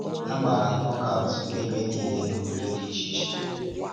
A gbàrà nọkaụt n’ebe niile n’obodo dị iche iche.